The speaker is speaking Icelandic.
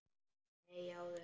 Nei, áður.